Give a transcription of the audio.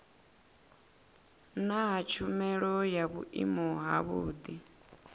naa tshumelo ya vhuimo havhudi